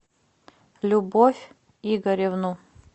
любовь игоревну